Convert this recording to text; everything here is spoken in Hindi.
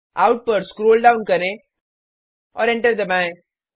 आउट पर स्क्रोल डाउन करें और एंटर दबाएँ